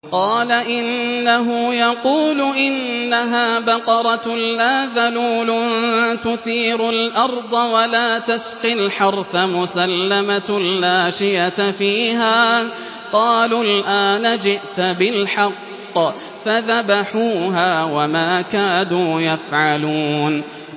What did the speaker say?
قَالَ إِنَّهُ يَقُولُ إِنَّهَا بَقَرَةٌ لَّا ذَلُولٌ تُثِيرُ الْأَرْضَ وَلَا تَسْقِي الْحَرْثَ مُسَلَّمَةٌ لَّا شِيَةَ فِيهَا ۚ قَالُوا الْآنَ جِئْتَ بِالْحَقِّ ۚ فَذَبَحُوهَا وَمَا كَادُوا يَفْعَلُونَ